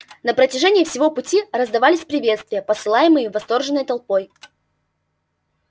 на протяжении всего пути раздавались приветствия посылаемые восторженной толпой